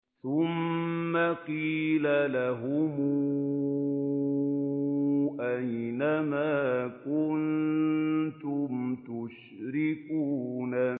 ثُمَّ قِيلَ لَهُمْ أَيْنَ مَا كُنتُمْ تُشْرِكُونَ